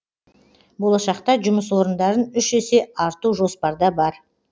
болашақта жұмыс орындарын үш есе арту жоспарда бар